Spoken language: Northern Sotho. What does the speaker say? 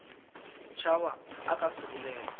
tšhaba o ka se bolele